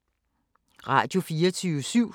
Radio24syv